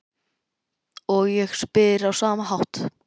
Og ég spyr á sama hátt